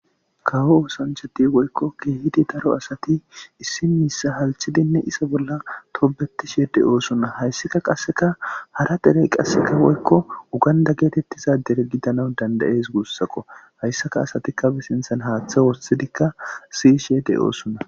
Kawo oosanchchatti woykko keehidii cora asati issi miishsha halchchidinne iza bolla toobbetishe de'iossonna hayssikka qasekka hara dere woykko Uganda dere gidanaw dandda'es guussakko hayssakka asatikka be sinththan haaththe wooththidiikka siyishe de'ossonna.